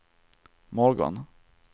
morgon